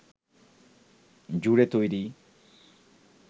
জুড়ে তৈরি